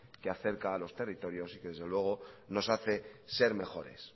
que acerca a los territorios y que desde luego nos hace ser mejores